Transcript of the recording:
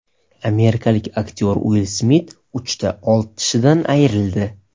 Amerikalik aktyor Uill Smit uchta old tishidan ayrildi .